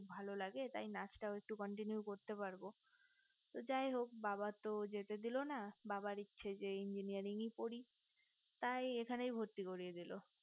ভালো লাগে টাই নাচ টাও একটু continue করতে পারবো যাই হোক বাবা তো যেতে দিলো না বাবার ইচ্ছে যে engineering পড়ি তাই এখানে ভর্তি করিয়ে দিলো